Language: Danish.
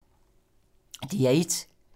DR1